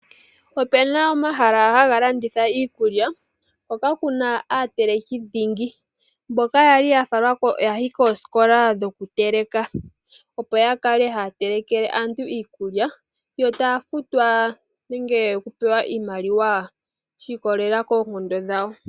Opu na omahala ha ga landitha iikulya, hoka ku na aateleki dhingi mboka ya li koosikola dhoku teleka opo ya kale ha ya telekele aantu iikulya, yo taya futwa nenge ta pewe oshimaliwa shi ikolelela koonkondo dhawo.